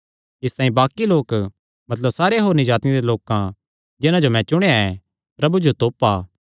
इसतांई बाक्कि लोक मतलब सारे होरनी जातिआं दे लोकां जिन्हां जो मैं चुणेया ऐ प्रभु जो तोपा